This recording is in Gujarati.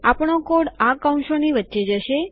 આપણો કોડ આ કૌંસોની વચ્ચે જશે